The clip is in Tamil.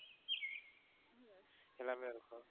எல்லாமே இருக்கும்.